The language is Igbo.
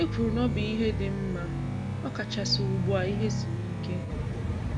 I kwuru na ọ bụ ihe dị mma ọ kachasị ugbua ihe siri ike.